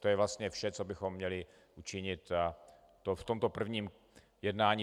To je vlastně vše, co bychom měli učinit v tomto prvním jednání.